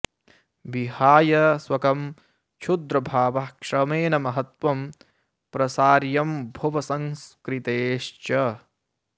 विहाय स्वकं क्षुद्रभावः श्रमेण महत्त्वं प्रसार्यं भुव संस्कृतेश्च